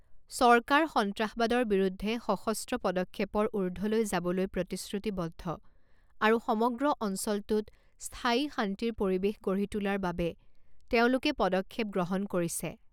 চৰকাৰ সন্ত্ৰাসবাদৰ বিৰুদ্ধে সশস্ত্ৰ পদক্ষেপৰ ঊৰ্ধলৈ যাবলৈ প্ৰতিশ্ৰুতিবদ্ধ আৰু সমগ্ৰ অঞ্চলটোত স্থায়ী শান্তিৰ পৰিৱেশ গঢ়ি তোলাৰ বাবে তেওঁলোকে পদক্ষেপ গ্ৰহণ কৰিছে।